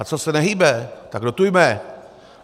A co se nehýbe, tak dotujme!